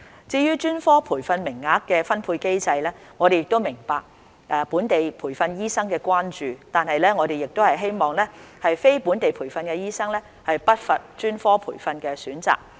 至於專科培訓名額的分配機制，我們明白本地培訓醫生的關注，但我們亦希望非本地培訓醫生不乏專科培訓的選擇。